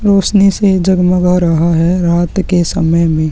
रौशनी से जगमगा रहा है रात के समय में।